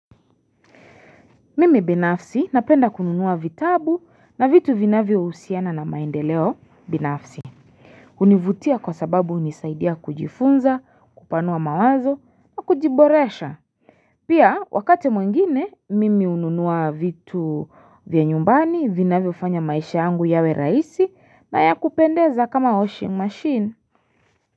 Mimi binafsi napenda kununua vitabu na vitu vinavyohusiana na maendeleo binafsi hunivutia kwa sababu hunisaidia kujifunza kupanua mawazo wa kujiboresha Pia wakati mwingine mimi hununua vitu vya nyumbani vinavyofanya maisha yangu yawe rahisi na yakupendeza kama washing machine.